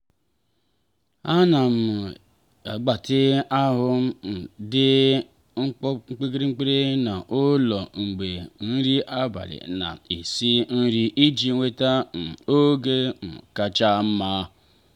ana m eme mgbatị ahụ um dị mkpirikpi n'ụlọ mgbe nri abalị na-esi nri iji nweta um oge um kacha mma.